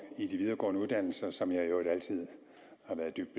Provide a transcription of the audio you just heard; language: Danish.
i de videregående uddannelser som jeg i øvrigt altid har været dybt